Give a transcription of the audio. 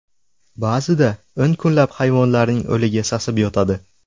Ba’zida o‘n kunlab hayvonlarning o‘ligi sasib yotadi.